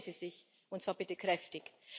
Schämen Sie sich, und zwar bitte kräftig.